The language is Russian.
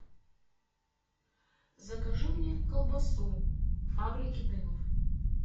закажи мне колбасу фабрики дымов